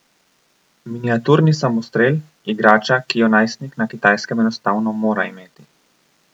Miniaturni samostrel, igrača, ki jo najstnik na Kitajskem enostavno mora imeti.